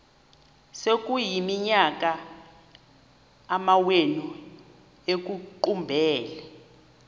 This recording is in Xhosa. sekuyiminyaka amawenu ekuqumbele